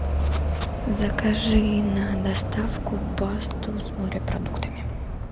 закажи на доставку пасту с морепродуктами